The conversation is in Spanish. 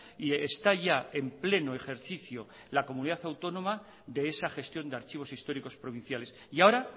y está ya en pleno ejercicio la comunidad autónoma de esa gestión de archivos históricos provinciales y ahora